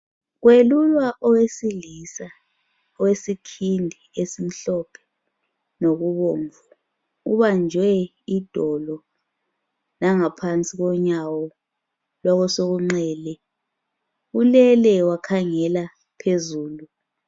Kwelulwa owesilisa owesikhindi esimhlophe lokubomvu ubanjwe idolo langaphansi konyawo losokunxele ulele wakhangela phezulu.